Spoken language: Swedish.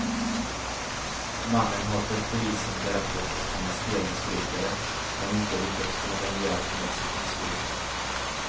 Mannen har för polisen berättat att han är spelmissbrukare men inte lyckats få någon hjälp med sitt missbruk.